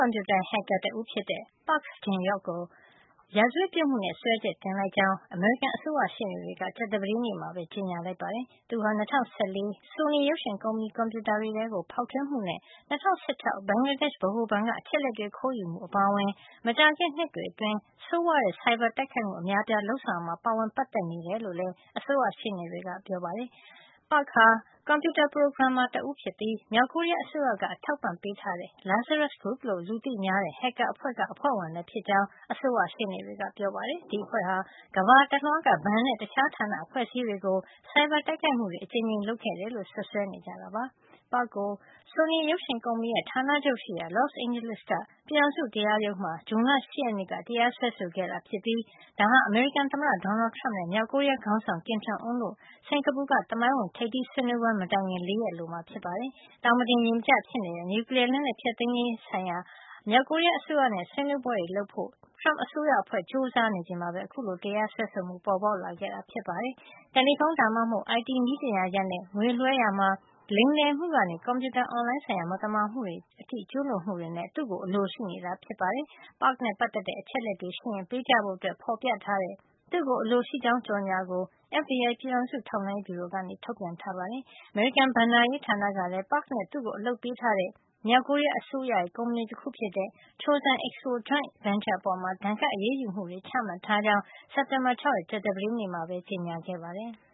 ွန်ပြူတာ ဟက်ကာတဦး ဖြစ်တဲ့ Park Jin Hyok ကို ရာဇဝတ်ပြစ်မှုနဲ့ စွဲချက်တင်လိုက်ကြောင်း အမေရိကန် အစိုးရရှေ့နေတွေက ကြာသပတေးနေ့မှာပဲ ကြေညာလိုက်ပါတယ်။ သူဟာ ၂၀၁၄ ဆိုနီရုပ်ရှင်ကုမ္ပဏီရဲ့ ကွန်ပြူတာတွေထဲ ဖေါက်ထွင်းမှုနဲ့ ၂၀၁၆ ဘင်္ဂလားဒေ့ရှ် ဗဟိုဘဏ်က အချက်အလက်တွေ ခိုးယူမှု အပါအဝင် မကြာခင် နှစ်တွေအတွင်း ဆိုးဝါးတဲ့ ဆိုင်ဘာတိုက်ခိုက်မှု အများအပြား လုပ်ဆောင်ရာမှာ ပါဝင်ပတ်သက်နေတယ်လို့ လည်း အစိုးရရှေ့နေတွေက ပြောပါတယ်။ Park Jin Hyok ဟာ ကွန်ပြူတာ ပရိုဂရမ်မာ တဦးဖြစ်ပြီး မြောက်ကိုရီးယား အစိုးရက အထောက်အပံ့ပေးထားတဲ့ "Lazarus Group" လို့ လူသိများတဲ့ ဟက်ကာအဖွဲ့က အဖွဲ့ဝင်လည်း ဖြစ်ကြောင်း အစိုးရရှေ့နေတွေက ပြောပါတယ်။ ဒီအဖွဲ့ဟာ ကမ္ဘာတလွှားက ဘဏ်နဲ့ တခြားဌာန အဖွဲ့အစည်းတွေကို ဆိုင်ဘာတိုက်ခိုက်မှု အကြိမ်ကြိမ် လုပ်ခဲ့တယ်လို့ စွပ်စွဲနေကြတာပါ။ Park ကို ဆိုနီရုပ်ရှင်ကုမ္ပဏီရဲ့ ဌာနချုပ်ရှိရာ Los Angeles က ပြည်ထောင်စုတရားရုံးမှာ ဇွန်လ ၈ ရက်နေ့က တရားစွဲဆိုခဲ့တာ ဖြစ်ပြီး ဒါဟာ အမေရိကန်သမ္မတ Donald Trump နဲ့ မြောက်ကိုရီးယား ခေါင်းဆောင် Kim Jong Un တို့ရဲ့ စင်္ကာပူက သမိုင်းဝင်ထိပ်သီး ဆွေးနွေးပွဲ မတိုင်ခင် ၄ ရက်အလိုမှာ ဖြစ်ပါတယ်။ သောင်မတင်ရေမကျ ဖြစ်နေတဲ့ နျူကလီယား လက်နက်ဖျက်သိမ်းရေး အတွက် မြောက်ကိုရီးယားအစိုးရနဲ့ ဆွေးနွေးပွဲတွေ လုပ်ဖို့ Trump အစိုးရအဖွဲ့က ကြိုးစားနေချိန်မှာပဲ အခုလို တရားစွဲဆိုမှုပေါ်ပေါက်ခဲ့တာဖြစ်ပါတယ်။ တယ်လီဖုန်းဒါမှမဟုတ် IT နည်းပညာဆိုင်ရာနဲ့ ငွေလွှဲရာမှာ လိမ်လည်မှု ကနေ ကွန်ပြူတာအွန်လိုင်းဆိုင်ရာ မသမာမှုတွေ ကျူးလွန်မှုတွေနဲ့ သူ့ကို အလိုရှိနေတာ ဖြစ်ပါတယ်။ Park နဲ့ပတ်သက်တဲ့ အချက်အလက်တွေ ရှိရင် ပေးကြဖို့ ဖေါ်ပြထားတဲ့ သူ့ကို အလိုရှိကြောင်း ကြေညာကို FBI ပြည်ထောင်စုထောက်လှန်းရေး ဗျူရိုက ထုတ်ပြန်ထားပါတယ်။ အမေရိကန် ဘဏ္ဍာရေးဌာနကလည်း Park နဲ့ သူ့ကို အလုပ်ပေးထားတဲ့ မြောက်ကိုရီးယားအစိုးရရဲ့ ကုမ္ပဏီတခုဖြစ်တဲ့ Chosun Expo Joint Venture အပေါ် ဒဏ်ခတ်အရေးယူမှုတွေ ချထားကြောင်း စက်တင်ဘာ ၆ ရက် ကြာသပတေးနေ့မှာပဲ ကြေညာခဲ့ပါတယ်။